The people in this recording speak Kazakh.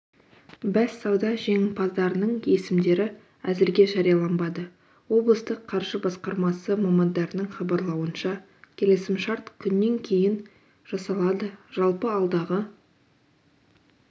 бәссауда жеңімпаздарының есімдері әзірге жарияланбады облыстық қаржы басқармасы мамандарының хабарлауынша келісімшарт күннен кейін жасалады жалпы алдағы